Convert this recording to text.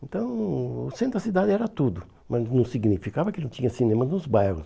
Então, o o centro da cidade era tudo, mas não significava que não tinha cinema nos bairros.